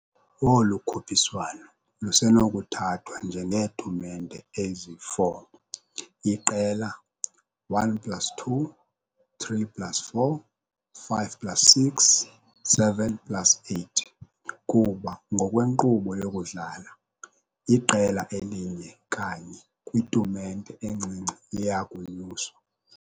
Olu khuphiswano lusenokuthathwa njengeetumente ezi-4. IQela 1 plus 2, 3 plus 4, 5 plus 6, 7 plus 8, kuba ngokwenkqubo yokudlala, iqela elinye kanye "kwitumente encinci" liya kunyuswa. .